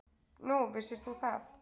Nú, vissir þú það?